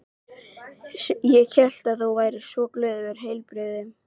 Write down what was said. Ég sem hélt að þú væri svo glöð og heilbrigð.